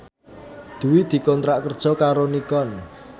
Dwi dikontrak kerja karo Nikon